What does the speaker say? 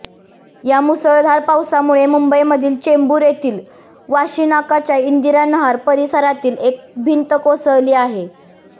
या मुसळधार पावसामुळे मुंबईमधील चेंबूर येथील वाशीनाकाच्या इंदिरा नहार परिसरातील एक भिंत कोसळली आहे